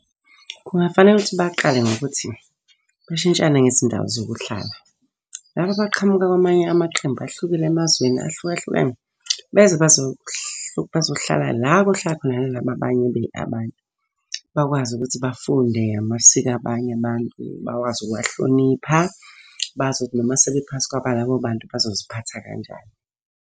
Kungafanele ukuthi baqale ngokuthi, bashintshane ngezindawo zokuhlala. Laba abaqhamuka kwamanye amaqembu ahlukile emazweni ahlukahlukene, beze bazohlala la okohlala khona nalaba abanye abantu. Bakwazi ukuthi bafunde amasiko abanye abantu, bakwazi ukuwahlonipha. Bazi ukuthi noma sebephansi kwaba labo bantu bazoziphatha kanjani.